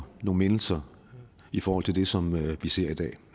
mindelser i forhold til det som vi ser i dag